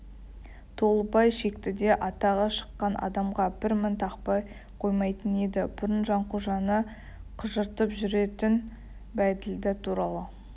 толыбай шектіде атағы шыққан адамға бір мін тақпай қоймайтын еді бұрын жанқожаны қыжыртып жүретін бәйділда туралы